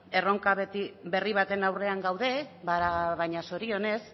erronka berri baten aurrean gaude baina zorionez